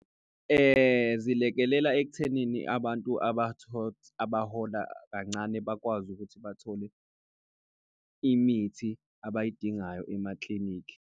Zilekelela ekuthenini abantu abahola kancane bakwazi ukuthi bathole imithi abayidingayo emaklinikhi.